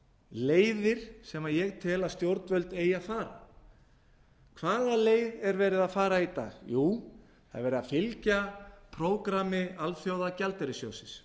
leiðir sem ég tel að stjórnvöld eigi að fara hvaða leið er verið að fara í dag jú það er verið að fyglja prógrammi alþjóðagjaldeyrissjóðsins